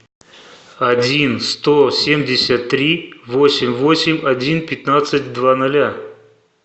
один сто семьдесят три восемь восемь один пятнадцать два ноля